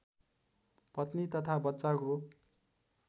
पत्नी तथा बच्चाको